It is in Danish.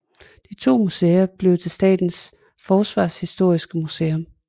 De to museer blev til Statens Forsvarshistoriske Museum